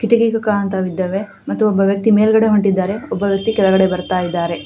ಕಿಟಕಿ ಕಾಣ್ತಾವ್ ಇದ್ದಾವೆ ಮತ್ತು ಒಬ್ಬ ವ್ಯಕ್ತಿ ಮೇಲ್ಗಡೆ ಹೊಂಟಿದ್ದಾರೆ ಒಬ್ಬ ವ್ಯಕ್ತಿ ಕೆಳಗಡೆ ಬರ್ತಾ ಇದ್ದಾರೆ.